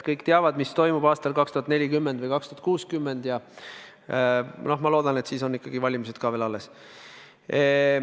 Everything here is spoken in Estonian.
Kõik teavad, mis toimub aastal 2040 või 2060, ja noh, ma loodan, et siis on ikkagi valimised ka veel alles.